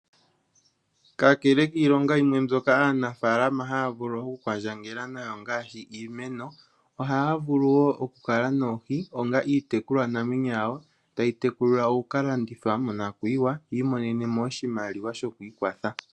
Kakele kiilinga yimwe mbyoka aanafaalama haya vulu okukwandjangela nayo ngaashi iimeno oyaya vulu woo okukala noohi onga iitekulwanamwenyo yawo tayitekulilwa okukalandithwa monakuyiwa yi imonemo oshimaliwa shoku ikwatha .